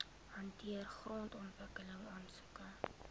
hanteer grondontwikkeling aansoeke